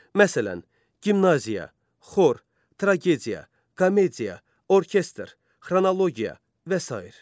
Məsələn, gimnaziya, xor, tragediya, komediya, orkestr, xronologiya və sair.